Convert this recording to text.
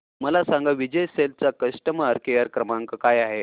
मला सांगा विजय सेल्स चा कस्टमर केअर क्रमांक काय आहे